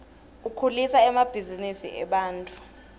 ukhulisa emabhzinisi ebantfu